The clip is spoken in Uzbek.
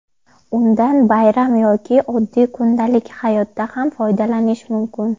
Undan bayram yoki oddiy kundalik hayotda ham foydalanish mumkin.